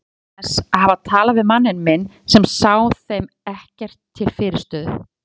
Hann minnist þess að hafa talað við manninn minn sem sá þeim ekkert til fyrirstöðu.